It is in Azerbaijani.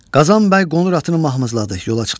Qazan bəy qonur atını mahmızladı, yola çıxdı.